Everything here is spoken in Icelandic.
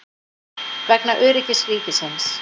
Vegna öryggis ríkisins.